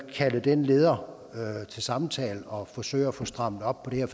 kalde den leder til samtale og forsøge at få strammet op på det her